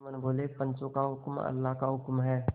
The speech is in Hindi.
जुम्मन बोलेपंचों का हुक्म अल्लाह का हुक्म है